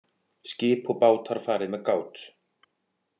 Skip og bátar fari með gát